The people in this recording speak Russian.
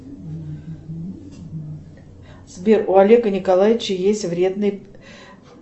сбер у олега николаевича есть вредный